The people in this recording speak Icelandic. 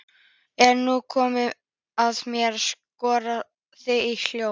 Er nú komið að mér að skora þig á hólm?